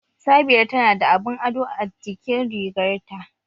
Sabira tana da abun ado a jikin rigarta